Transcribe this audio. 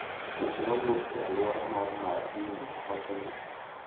Weche mawuok e alwora mar Marindi wacho ni,